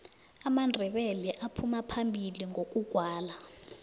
amandebele aphuma phambili ngokugwala